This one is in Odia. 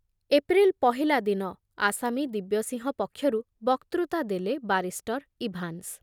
ଏପ୍ରିଲ ପହିଲା ଦିନ ଆସାମୀ ଦିବ୍ୟସିଂହ ପକ୍ଷରୁ ବକ୍ତୃତା ଦେଲେ ବାରିଷ୍ଟର ଇଭାନ୍ସ ।